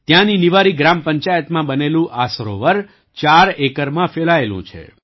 ત્યાંની નિવારી ગ્રામ પંચાયતમાં બનેલું આ સરોવર ચાર ઍકરમાં ફેલાયેલું છે